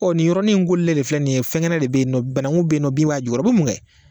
O nin yɔrɔnin kolilen de filɛ nin ye, fɛn kɛnɛ de bɛ yen, banankuw bɛ yen nɔ, bin b'a jukɔrɔ o bɛ mun kɛ.